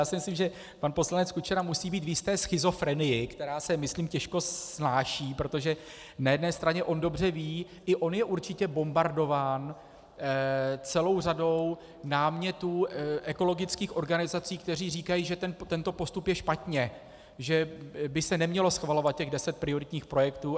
Já si myslím, že pan poslanec Kučera musí být v jisté schizofrenii, která se myslím těžko snáší, protože na jedné straně on dobře ví, i on je určitě bombardován celou řadou námětů ekologických organizací, které říkají, že tento postup je špatně, že by se nemělo schvalovat těch deset prioritních projektů.